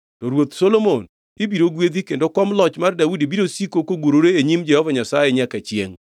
To Ruoth Solomon ibiro gwedhi kendo kom loch mar Daudi biro siko kogurore e nyim Jehova Nyasaye nyaka chiengʼ.”